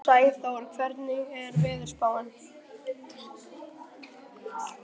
Sæþór, hvernig er veðurspáin?